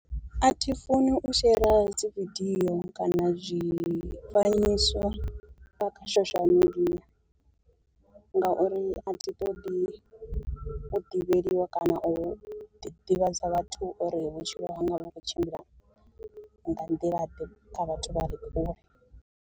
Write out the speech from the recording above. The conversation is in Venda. Athi funi u shera dzi video kana zwifanyiso nga kha social media, ngauri a thi ṱoḓi u ḓivheliwa kana u ḓi ḓivhadza vhathu uri vhutshilo hanga vhu khou tshimbila nga nḓila ḓe kha vhathu vha re kule.